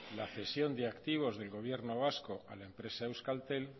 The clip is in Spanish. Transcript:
la cesión de activos del gobierno vasco a la empresa euskaltel